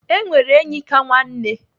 E nwere enyi ka nwanne.